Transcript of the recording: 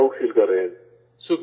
ہم proud feel کر رہے ہیں